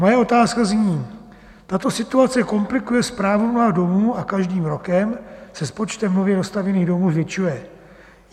Moje otázka zní: Tato situace komplikuje správu mnoha domů a každým rokem se s počtem nově dostavěných domů zvětšuje.